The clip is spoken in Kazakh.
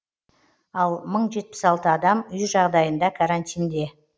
ал мың жетпіс алты адам үй жағдайында карантинде